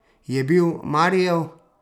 Je bil Marijev?